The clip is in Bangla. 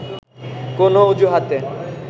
কোন অজুহাতে